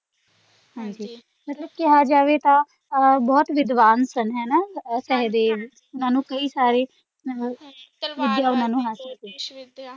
ਹਾਂਜੀ ਮਤਲਬ ਕਿਹਾ ਜਾਵੇ ਤਾਂ ਬਹੁਤ ਵਿਦਵਾਨ ਸਨ ਹਣਾ ਸੇਹਦੇਵ ਓਹਨਾ ਨੂੰ ਕਈ ਸਾਰੇ ਤਲਵਾਰਬਾਜ਼ੀ ਜੋਤਿਸ਼ ਵਿੱਦਿਆ।